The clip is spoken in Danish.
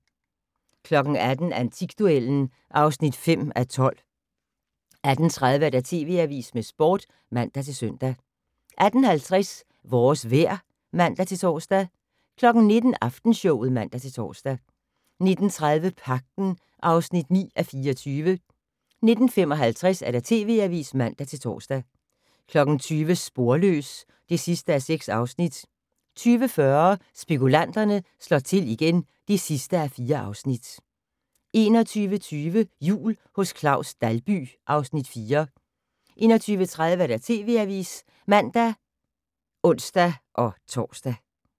18:00: Antikduellen (5:12) 18:30: TV Avisen med Sporten (man-søn) 18:50: Vores vejr (man-tor) 19:00: Aftenshowet (man-tor) 19:30: Pagten (9:24) 19:55: TV Avisen (man-tor) 20:00: Sporløs (6:6) 20:40: Spekulanterne slår til igen (4:4) 21:20: Jul hos Claus Dalby (Afs. 4) 21:30: TV Avisen (man og ons-tor)